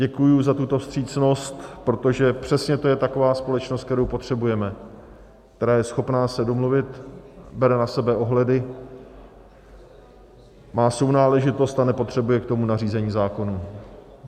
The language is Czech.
Děkuji za tuto vstřícnost, protože přesně to je taková společnost, kterou potřebujeme, která je schopná se domluvit, bere na sebe ohledy, má sounáležitost a nepotřebuje k tomu nařízení zákonů.